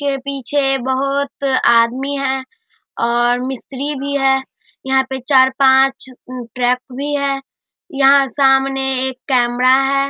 के पीछे बहुत आदमी है और मिस्त्री भी है यहाँ पे चार पांच उम ट्रक भी है यहाँ सामने एक कैमरा है।